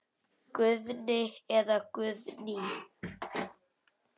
Guðni eða Guðný.